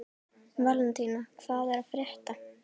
Valentína, hvað er að frétta?